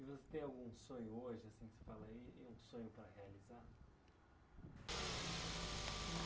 E você tem algum sonho hoje, assim que você fala aí, um sonho para realizar? Ah